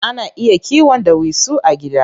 Ana iya kiwon ɗawisu a gida.